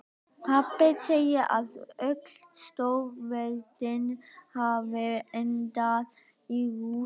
Pabbi segir að öll stórveldi hafi endað í rústum.